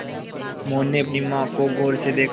मोहन ने अपनी माँ को गौर से देखा